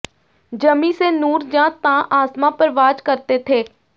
ਜ਼ਮੀਂ ਸੇ ਨੂਰ ਯਾਂ ਤਾ ਆਸਮਾਂ ਪਰਵਾਜ਼ ਕਰਤੇ ਥੇ